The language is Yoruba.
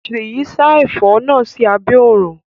Seyi sa ẹfọ náà sí abé òrùn.